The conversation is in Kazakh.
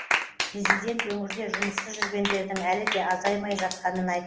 президент өңірде жұмыссыз жүргендердің әлі де азаймай жатқанын айтты